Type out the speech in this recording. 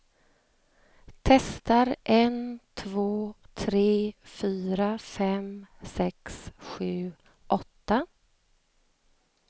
Testar en två tre fyra fem sex sju åtta.